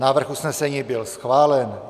Návrh usnesení byl schválen.